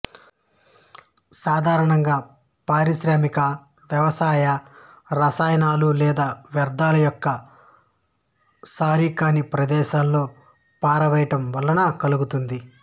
సాధారణంగా పారిశ్రామిక వ్యవసాయ రసాయనాలు లేదా వ్యర్ధాల యొక్క సారికాని ప్రదేశాలలో పారవేయడం వలన కలుగుతుంది